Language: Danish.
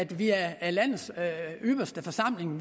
vi er landets ypperste forsamling